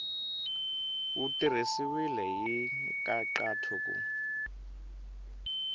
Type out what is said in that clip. wu tirhisiwile hi nkhaqato ku